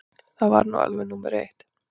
Það er nú alveg númer eitt.